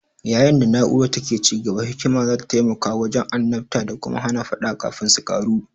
Yayin da na'urar take ci gaba, hikima za ta taimaka wajen annabta da kuma hana faɗa kafin su ƙaru.